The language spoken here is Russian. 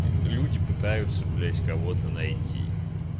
люди пытаются блять кого-то найти